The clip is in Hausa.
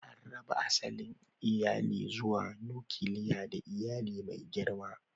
An raba asalin iyali zuwa: nukiliya da iyali mai girma.